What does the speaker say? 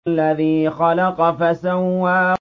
الَّذِي خَلَقَ فَسَوَّىٰ